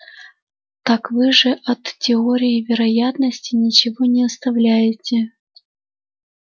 так вы же от теории вероятности ничего не оставляете